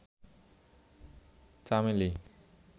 চামেলি